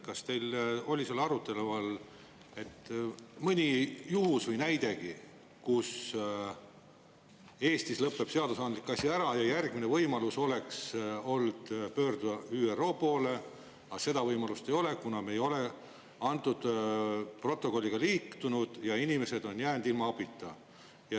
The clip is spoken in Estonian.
Kas teil oli seal arutelu all mõni juhtum või näidegi, kus Eestis lõpeb seadusandlik asi ära ja järgmine võimalus oleks pöörduda ÜRO poole, aga seda võimalust ei ole, kuna me ei ole antud protokolliga liitunud, ja inimesed on jäänud ilma abita?